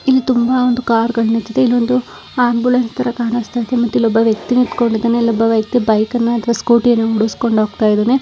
ಇಲ್ಲಿ ತುಂಬಾ ಕಾರುಗಳು ನಿಂತಿದ್ದೆ ಇಲ್ಲಿ ಒಂದು ಆಂಬ್ಯುಲೆನ್ಸ್ ತರ ಕಾಣಿಸುತ್ತಾ ಇದೆ ಮತ್ತೆ ಇಲ್ಲಿ ಒಬ್ಬ ವ್ಯಕ್ತಿ ನಿಂತುಕೊಂಡು ಇದ್ದಾನೆ ಇಲ್ಲಿ ಒಬ್ಬ ವ್ಯಕ್ತಿ ಬೈಕ್ ನಾ ಅಥವಾ ಸ್ಕೂಟಿ ನಾ ಹೊಡಿಸಿಕೊಂಡು ಹೋಗ್ತಾ ಇದ್ದಾನೆ